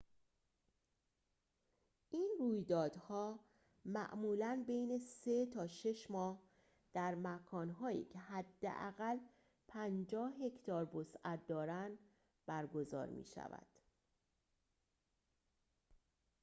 این رویدادها معمولاً بین سه تا شش ماه در مکان‌هایی که حداقل ۵۰ هکتار وسعت دارند برگزار می‌شود